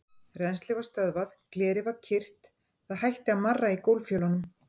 Rennslið var stöðvað, glerið var kyrrt, það hætti að marra í gólffjölunum.